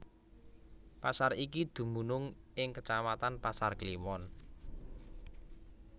Pasar iki dumunung ing kecamatan Pasar Kliwon